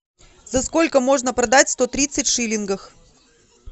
за сколько можно продать сто тридцать шиллингов